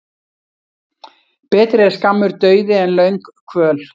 Betri er skammur dauði en löng kvöl.